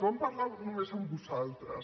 van parlar només amb vosaltres